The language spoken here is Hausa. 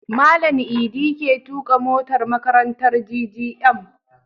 Malan idi ke tuƙa motar makarantar GGM